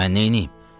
Mən neyniyim?